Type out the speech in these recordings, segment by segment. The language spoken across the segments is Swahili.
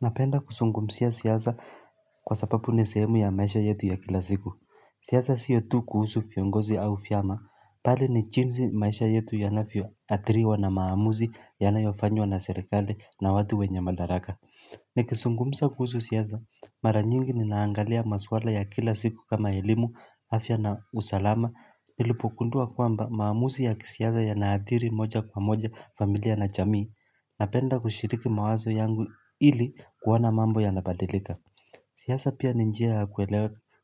Napenda kuzungumzia siasa kwa sababu ni sehemu ya maisha yetu ya kila siku, siasa si yo tu kuhusu viongozi au vyama, bali ni jinsi maisha yetu yanavyoathiriwa na maamuzi yanayofanywa na serikali na watu wenye madaraka Nikizungumza kuhusu siasa, maranyingi ninaangalia maswala ya kila siku kama elimu afya na usalama nilipogundua kwamba maamuzi ya kisiasa yanaathiri moja kwa moja familia na jamii Napenda kushiriki mawazo yangu ili kuona mambo yanabadilika siasa pia ni njia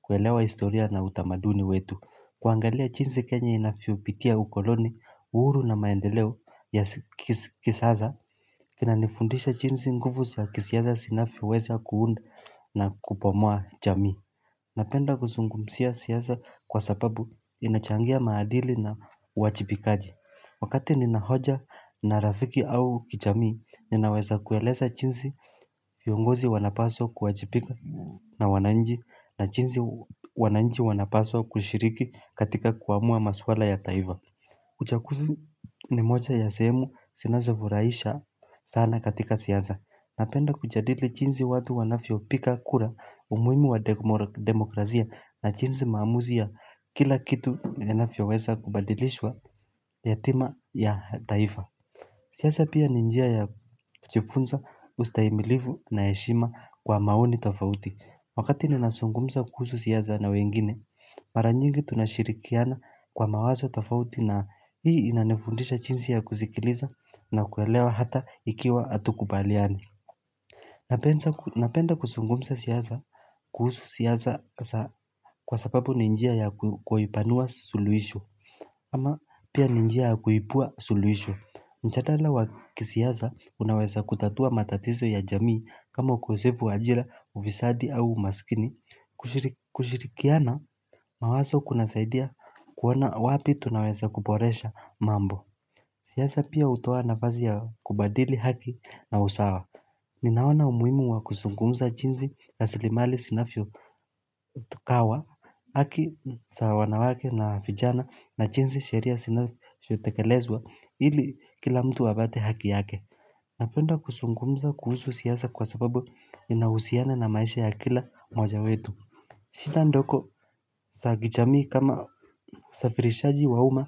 kuelewa historia na utamaduni wetu kuangalia jinsi kenya inavyopitia ukoloni, uhuru na maendeleo ya kisasa kina nifundisha jinsi nguvu ya kisiasa zinavyoweza kuunda na kubomia jamui Napenda kuzungumzia siasa kwa sababu inachangia maadili na uwajibikaji Wakati nina hoja na rafiki au kijamii ninaweza kueleza jinsi viongozi wanapaswa kuwajibika na wananchi na jinsi wananchi wanapaswa kushiriki katika kuamua maswala ya taifa uchaguzi ni moja ya sehemu sinazofurahisha sana katika siasa Napenda kujadili jinsi watu wanafyo piga kura umuhimu wa demokrasia na jinsi maamuzi ya kila kitu yanavyo weza kubadilishwa hatima ya taifa siasa pia ni njia ya kujifunza ustahimilivu na heshima kwa maoni tofauti Wakati ninazungumza kuhusu siasa na wengine Mara nyingi tunashirikiana kwa mawazo tofauti na hii inanifundisha jinsi ya kuzikiliza na kuelewa hata ikiwa hatukubaliani Napenda kusungumza siyaza kuhusu siyaza kwa sababu ni njia ya kuipanua suluhisho ama pia ni njia kuibua suluhisho mjadala wa kisiasa unaweza kutatua matatizo ya jamii Kamo ukosefu wa ajira ufisadi au umaskini kushirikiana mawazo kuna saidia kuona wapi tunaweza kuboresha mambo siasa pia hutoa nafasi ya kubadili haki na usawa Ninaona umuhimu wa kuzungumza jinsi rasilimali zinavyo tukawa haki za wanawake na vijana na jinsi sheria zinavyotekelezwa ili kila mtu apate haki yake Napenda kuzungumza kuhusu siasa kwa sababu inahusiana na maisha ya kila mmoja wetu shida ndogo za kijamii kama usafirishaji wa umma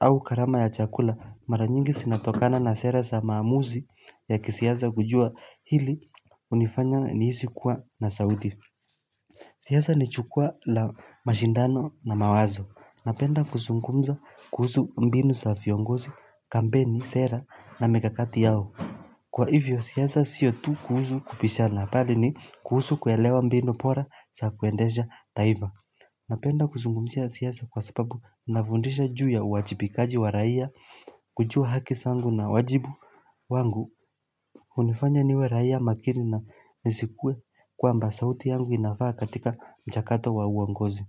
au gharama ya chakula maranyingi zinatokana na sera za maamuzi ya kisiasa kujua hili hunifanya nihisi kuwa na sauti siasa ni jukwa la mashindano na mawazo. Napenda kuzungumza kuhusu mbinu sa viongozi, kampeni, sera na mikakati yao. Kwa hivyo siasa sio tu kuhusu kubishana bali ni kuhusu kuelewa mbinu bora za kuendesha taifa. Napenda kuzungumzia siasa kwa sababu inafundisha juu ya uwajibikaji wa raia kujua haki zangu na wajibu. Wangu hunifanya niwe raia makini na nisikue kwamba sauti yangu inafaa katika mchakato wa uongozi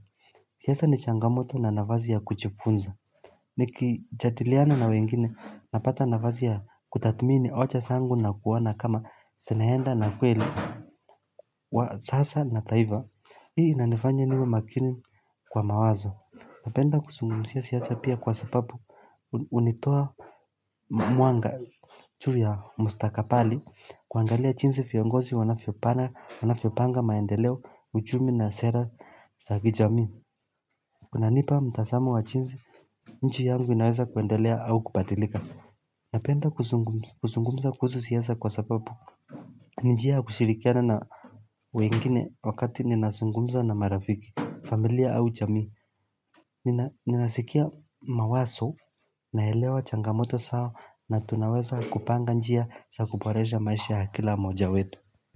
siasa ni changamoto na nafasi ya kujifunza nikijadiliana na wengine napata nafasi ya kutathmini hoja zangu na kuona kama zinaenda na kweli wa sasa na taifa hii inanifanya niwe makini kwa mawazo hupenda kuzungumzia siasa pia kwa sababu hunitoa Mwanga juu ya mstakabali kuangalia jinsi viongozi wanavyopanga maendeleo uchumi na sera za kijamii kunanipa mtazamo wa jinsi nchi yangu inaweza kuendelea au kubadilika Napenda kuzungumza kuhusu siasa kwa sababu ni njia kushirikiana na wengine wakati ninazungumza na marafiki familia au jamii Ninasikia mawazo naelewa changamoto zao na tunaweza kupanga njia za kuboresha maisha ya kila mojawetu.